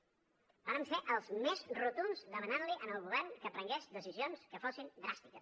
vàrem ser els més rotunds demanant li al govern que prengués decisions que fossin dràstiques